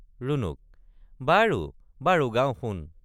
ৰুণুক—বাৰু বাৰু গাওঁ শুন।